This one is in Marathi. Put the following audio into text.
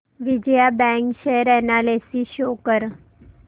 Vijaya Bank share analysis show कर